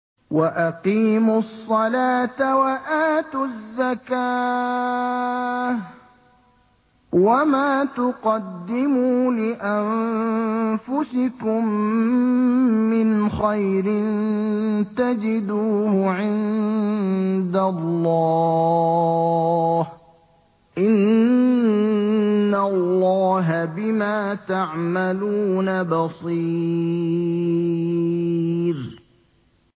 وَأَقِيمُوا الصَّلَاةَ وَآتُوا الزَّكَاةَ ۚ وَمَا تُقَدِّمُوا لِأَنفُسِكُم مِّنْ خَيْرٍ تَجِدُوهُ عِندَ اللَّهِ ۗ إِنَّ اللَّهَ بِمَا تَعْمَلُونَ بَصِيرٌ